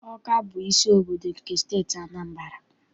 Ọka bụ isi obodo nke Steeti Anambra.